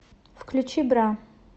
включи бра